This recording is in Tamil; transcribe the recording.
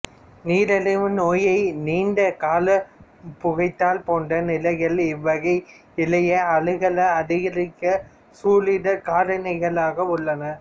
நீரிழிவு நோய் நீண்ட கால புகைத்தல் போன்ற நிலைகள் இவ்வகை இழைய அழுகலை அதிகரிக்கவல்ல சூழ் இடர் காரணிகளாக உள்ளன